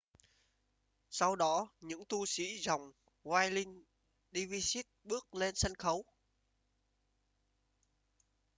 sau đó những tu sĩ dòng whirling dervishes bước lên sân khấu